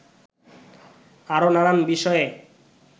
আরও নানান বিষয়ে